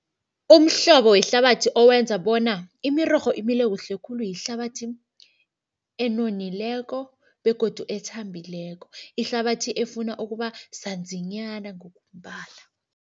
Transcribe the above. Umhlobo wehlabathi owenza bona imirorho imile kuhle khulu yihlabathi enonileko begodu ethambileko. Ihlabathi efuna ukuba sanzinyana ngokombala.